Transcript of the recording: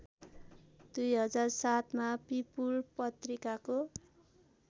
२००७ मा पिपुल पत्रिकाको